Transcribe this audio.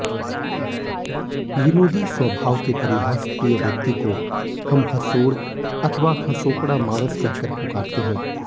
विनोदी स्वभाव के परिहास प्रिय व्यक्ति को हम हंसोड़ अथवा हंसोकड़ा माणस कहकर पुकारते हैं